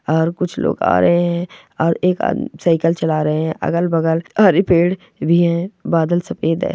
और कुछ लोग आ रहे है और एक आदमी साइकिल चला रहे है अगल बगल हरे पेड़ भी है बादल सफ़ेद है।